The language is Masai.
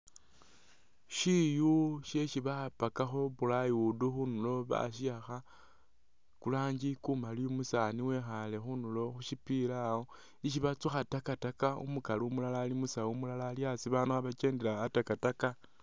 Shiyu shesi bapakakho plywood khundulo basiwaakha kulanji kumaali umusaani wekhaale khundulo khushipila awo ishi batsukha takataka umukali umulala ali musawu umulala ali a'asi babaandu khebakendela a'takataka